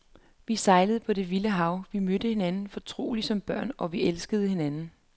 Vi sejlede på det vilde hav, vi mødte hinanden fortrolige som børn, og vi elskede hinanden.